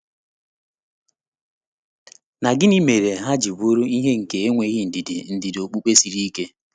Na gịnị mere ha ji bụrụ ihe nke enweghị ndidi ndidi okpukpe siri ike?